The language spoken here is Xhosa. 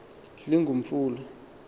lingumfula